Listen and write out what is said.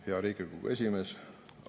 Hea Riigikogu esimees!